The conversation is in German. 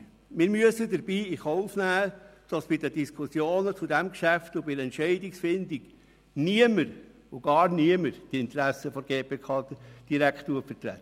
Wir müssen dabei in Kauf nehmen, dass bei den Diskussionen zu diesem Geschäft und bei der Entscheidungsfindung niemand die Interessen der GPK direkt vertritt.